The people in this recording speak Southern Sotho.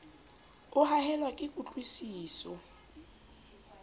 o haellwa ke kutlwi siso